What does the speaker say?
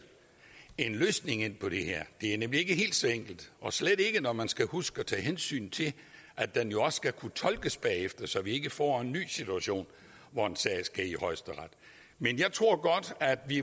en løsning på det her det er nemlig ikke helt så enkelt og slet ikke når man skal huske at tage hensyn til at den jo også skal kunne tolkes bagefter så vi ikke får en ny situation hvor en sag skal i højesteret men jeg tror godt at vi